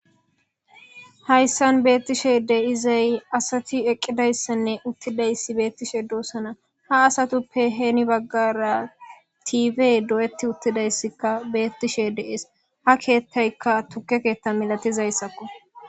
hayssan beettishe deizay asati eqqidayssanne uttidayssi beettishe doossana ha asatuppe heeni baggara tiibe do7etti uttidayssikka beettishe de7ees ha keettaykka tukke keetta milatizayssakko